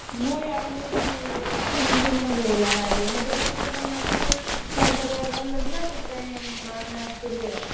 ମୁଁ ଏଇ ଆଇଲେଣି ତିନି ଦିନ ଖଣ୍ଡେ ହେଇଗଲାଣି ଆଇଲେଣି ମୋ ଦେହ ଟିକେ ଭଲ ନଥିଲା ସେଥିପାଇଁ ଆସିଥିଲି ଆଉ।